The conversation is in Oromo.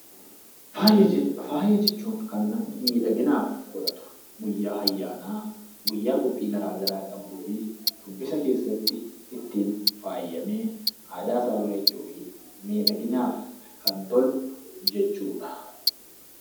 Faaya jechuun kan namni miidhaginaaf godhatu. Guyyaa ayyaanaa, guyyaa qophii garaa garaa qabuu fi shubbisa keessatti ittiin faayyamee aadaasaa bareechuufii miidhaginaaf kan tolu jechuudha.